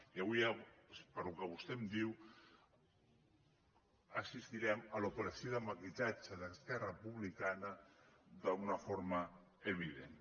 i avui pel que vostè em diu assistirem a l’operació de maquillatge d’esquerra republicana d’una forma evident